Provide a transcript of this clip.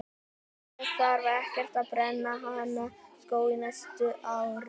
Það þarf ekkert að brenna hana sko á næsta ári.